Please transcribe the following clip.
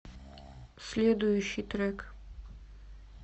следующий трек